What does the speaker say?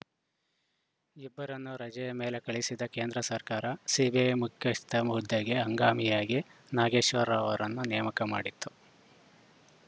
ಇಬ್ಬರನ್ನೂ ರಜೆಯ ಮೇಲೆ ಕಳುಹಿಸಿದ್ದ ಕೇಂದ್ರ ಸರ್ಕಾರ ಸಿಬಿಐ ಮುಖ್ಯಸ್ಥ ಹುದ್ದೆಗೆ ಹಂಗಾಮಿಯಾಗಿ ನಾಗೇಶ್ವರ ರಾವ್‌ ಅವರನ್ನು ನೇಮಕ ಮಾಡಿತ್ತು